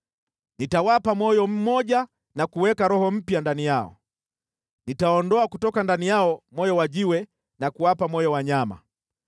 Nitawapa moyo mmoja na kuweka roho mpya ndani yao, nitaondoa kutoka ndani yao moyo wa jiwe na kuwapa moyo wa nyama.